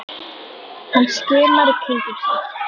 Hann skimar í kringum sig.